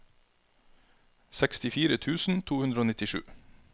sekstifire tusen to hundre og nittisju